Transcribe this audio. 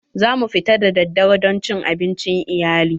Za mu fita daddare don cin abincin iyali.